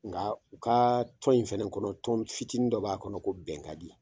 Nga u ka tɔn in fɛnɛ kɔnɔ tɔn fitinin dɔ b'a kɔnɔ ko bɛn kadi